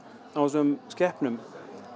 á þessum skepnum